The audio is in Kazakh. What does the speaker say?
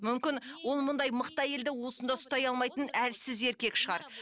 мүмкін ол мұндай мықты әйелді уысында ұстай алмайтын әлсіз еркек шығар